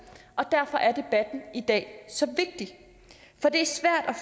og derfor er debatten i dag så vigtig